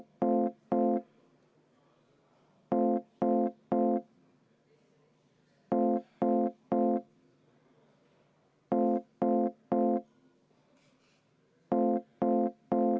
Aitäh, austatud aseesimees!